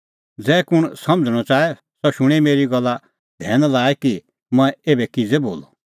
ज़ै कुंण समझ़णअ च़ाहे सह शूणैं मेरी एसा गल्ला धैन लाई कि मंऐं एभै किज़ै बोलअ